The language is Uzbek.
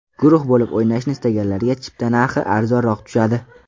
Guruh bo‘lib o‘ynashni istaganlarga chipta narxi arzonroq tushadi.